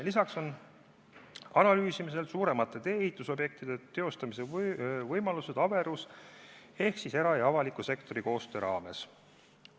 Lisaks on analüüsimisel suuremate tee-ehitusprojektide teostamise võimalused averuse ehk era- ja avaliku sektori koostöö raames.